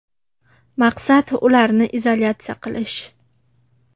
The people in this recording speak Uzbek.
Maqsad – ularni izolyatsiya qilish.